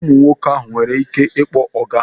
Ụmụ nwoke ha nwere ike ịkpọ ọga?